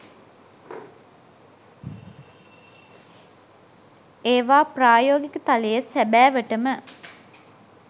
ඒවා ප්‍රායෝගික තලයේ සැබෑවටම